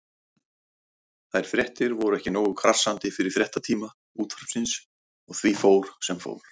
Þær fréttir voru ekki nógu krassandi fyrir fréttatíma Útvarpsins og því fór sem fór.